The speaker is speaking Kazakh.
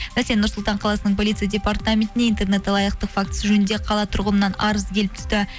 нұрсұлтан қаласының полицей департаментіне интернет алаяқтық фактісі жөнінде қала тұрғынынан арыз келіп түсті